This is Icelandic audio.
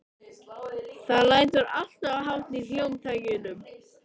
Það lætur alltof hátt í hljómtækjunum.